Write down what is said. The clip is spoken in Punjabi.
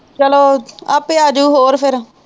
ਚੱਲੋ ਆਪੇ ਆ ਜਾਊ ਹੋ ਫੇਰ